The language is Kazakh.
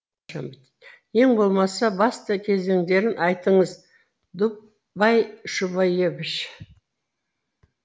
ең болмаса басты кезеңдерін айтыңыз дубай шубаевич